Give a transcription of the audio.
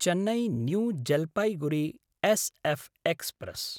Chennai New Jalpaiguri SF express